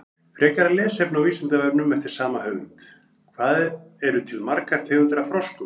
Frekara lesefni á Vísindavefnum eftir sama höfund: Hvað eru til margar tegundir af froskum?